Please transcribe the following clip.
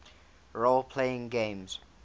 role playing games